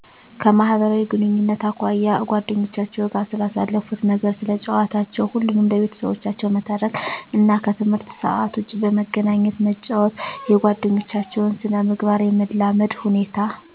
_ከማህበራዊ ግንኙነት አኳያ አጓደኞቻቸዉ ጋር ስለሳለፋት ነገር ስለጨዋታቸው ሁሉንም ለቤተሰቦቻቸው መተረክ እና ከትምህርት ሰአት ዉጭ በመገናኘት መጫወት _የጓደኞታቸዉን ስነ-ምግባር የመላመድ ሁኔታ